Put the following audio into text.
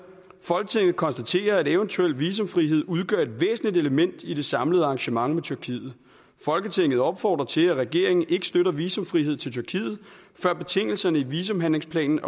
folketinget konstaterer at eventuel visumfrihed udgør et væsentligt element i det samlede arrangement med tyrkiet folketinget opfordrer til at regeringen ikke støtter visumfrihed til tyrkiet før betingelserne i visumhandlingsplanen